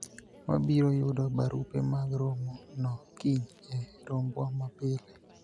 wabiro yudo barupe mag romo no kiny e rombwa ma pile